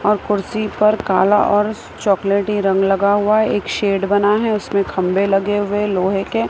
और कुर्सी पर काला और चॉकलेटी रंग लगा हुआ है एक शेड बना हुआ है उसमें खंबे लगे हुए लोहे के--